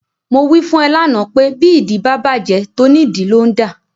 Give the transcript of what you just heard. Mo wí fún ẹ lánàá pé bí ìdí bá bàjẹ́, tónìdìí ló ń dà.